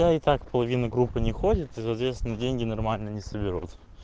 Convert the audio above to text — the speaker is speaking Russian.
да и так половина группы не ходит и соответственно деньги нормально не соберут